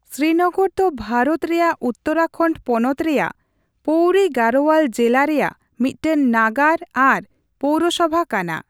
ᱥᱨᱤᱱᱚᱜᱚᱨ ᱫᱚ ᱵᱷᱟᱨᱚᱛ ᱨᱮᱭᱟᱜ ᱩᱛᱛᱚᱨᱟᱠᱷᱚᱱᱰ ᱯᱚᱱᱚᱛ ᱨᱮᱭᱟᱜ ᱯᱳᱣᱨᱤ ᱜᱟᱲᱳᱣᱟᱞ ᱡᱤᱞᱟ ᱨᱮᱭᱟᱜ ᱢᱤᱫᱴᱟᱝ ᱱᱟᱜᱟᱨ ᱟᱨ ᱯᱳᱣᱨᱚᱥᱚᱵᱷᱟ ᱠᱟᱱᱟ ᱾